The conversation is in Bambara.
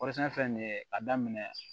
fɛn fɛn nin ye a daminɛ